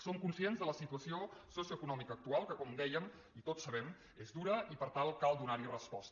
som conscients de la situació socioeconòmica que com dèiem tots ho sabem és dura i per tant cal donar hi resposta